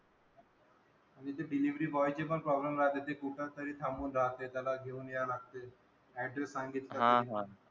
तिथे delivery boy ची पण problem राहते. ते कुठेतरी थांबून राहते त्याला घेऊन यायला लागते. Adress सांगितला तरी.